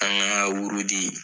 An ka wurudi